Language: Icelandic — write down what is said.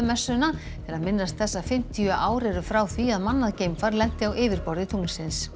messuna til að minnast þess að fimmtíu ár eru frá því að mannað geimfar lenti á yfirborði tunglsins